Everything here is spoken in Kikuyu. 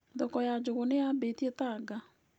Thoko ya njũgũ nĩ yambĩtie Tanga.